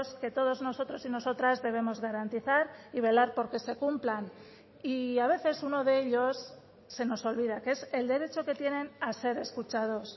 que todos nosotros y nosotras debemos garantizar y velar porque se cumplan y a veces uno de ellos se nos olvida que es el derecho que tienen a ser escuchados